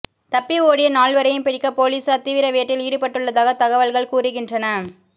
தப்பி ஓடிய நால்வரையும் பிடிக்க போலீசார் தீவிர வேட்டையில் ஈடுபட்டுள்ளதாக தகவல்கள் கூறுகின்றன